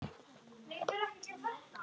Svo var loks haldið heim.